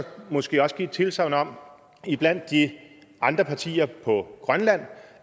måske også give et tilsagn om blandt de andre partier på grønland